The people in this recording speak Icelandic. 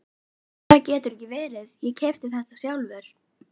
Það getur ekki verið, ég keypti þetta sjálfur.